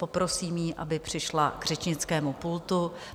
Poprosím ji, aby přišla k řečnickému pultu.